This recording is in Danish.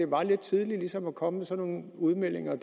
var lidt tidligt ligesom at komme med sådan nogle udmeldinger